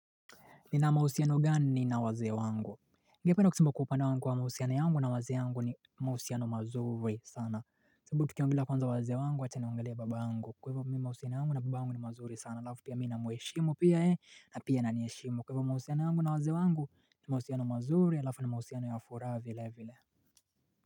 Nina mahusiano gani mimi na waze wangu. Ngependa kusemba kwa upande wangu kwa mahusiano yangu na waze wangu ni mahusiano mazuri sana. Sibabau tukiongeelea kwanza waze wangu wacha ni nimwongelee baba angu. Kwa hivyo mahusiano yangu na babayangu ni mazuri sana. Halafu pia mimi nina muheshimu pia yeye ananiheshimu Kwahivyo mahusiano yangu na waze wangu ni mahusiano mazuri. Halafu ni mahusiano ya furaha vile vile.